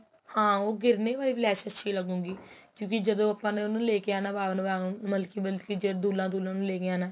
ਹਾਂ ਉਹ ਗਿੱਰਨੇ ਵਾਲੀ ਲੈਸ਼ ਅੱਛੀ ਲੱਗੂ ਗਈ ਕਿਉਂਕਿ ਜਦੋ ਆਪਾ ਨੇ ਉਹਨੂੰ ਲੈਕੇ ਆਉਣਾ ਮਤਲਬ ਕੀ ਮਤਲਬ ਕੀ ਜਦੋ ਦੁਲਹਾ ਦੁਲਹਨ ਲੈਕੇ ਆਉਣਾ